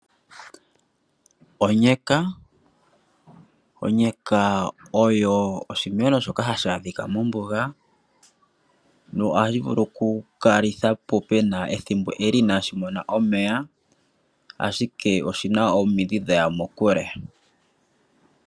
Onyeka osho oshimeno shoka hashi adhika mombuga, nohashi vulu kukala ethimbo ele inaashi mona omeya ashike oshina omidhi dhaya muule.